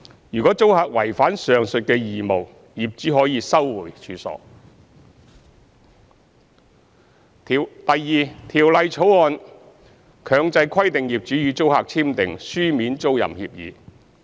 如租客違反上述義務，業主可收回處所；二《條例草案》強制規定業主與租客簽訂書面租賃協議。